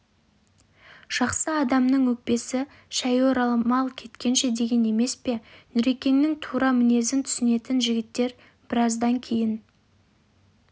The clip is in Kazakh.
жақсы адамның өкпесі шәйі орамал кепкенше деген емес пе нүрекеңнің тура мінезін түсінетін жігіттер біраздан кейін